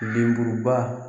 Denburu ba